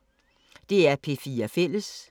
DR P4 Fælles